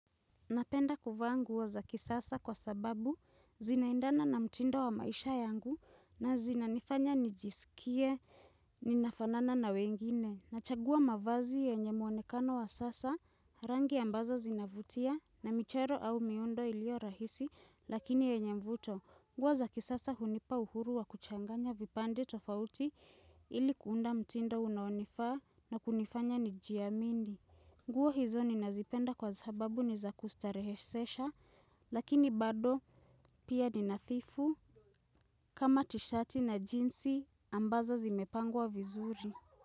Napenda kuvaa nguo za kisasa kwa sababu zinaendana na mtindo wa maisha yangu na zinanifanya nijisikie ninafanana na wengine. Nachagua mavazi yenye muonekano wa sasa rangi ambazo zinavutia na michero au miundo ilio rahisi lakini yenye mvuto. Nguo za kisasa hunipa uhuru wa kuchanganya vipande tofauti ili kuunda mtindo unaonifaa na kunifanya nijiamini. Nguo hizo ninazipenda kwa sababu ni za kustarehesesha lakini bado pia ni nadhifu kama tishati na jinsi ambazo zimepangwa vizuri.